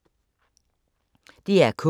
DR K